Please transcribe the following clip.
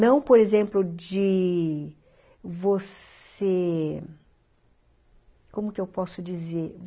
Não, por exemplo, de você... Como que eu posso dizer?